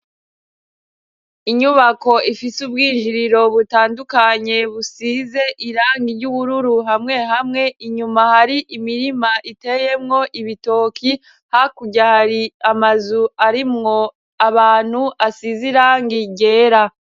Inyubako ifise ubwinjiriro butandukanye busize irangi ry'ubururu hamwe hamwe inyuma hari imirima iteyemwo ibitoki hakuryari amazu arimwo abantu asize irangi gera.